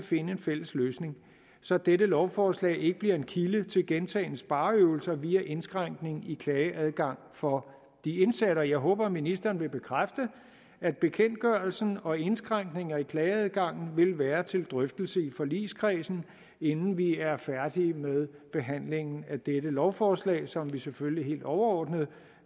finde en fælles løsning så dette lovforslag ikke bliver en kilde til gentagne spareøvelser via indskrænkning i klageadgangen for de indsatte jeg håber at ministeren vil bekræfte at bekendtgørelsen og indskrænkninger i klageadgangen vil være til drøftelse i forligskredsen inden vi er færdige med behandlingen af dette lovforslag som vi selvfølgelig helt overordnet